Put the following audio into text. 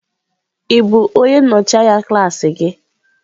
Ị bụ onye nnọchi anya klaasị gị?